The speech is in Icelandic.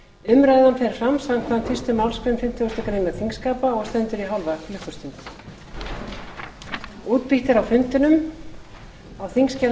umræðan fer fram samkvæmt fyrstu málsgrein fimmtugustu grein þingskapa og stendur í hálfa klukkustund